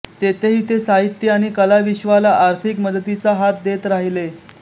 तेथेही ते साहित्य आणि कलाविश्वाला आर्थिक मदतीचा हात देत राहिले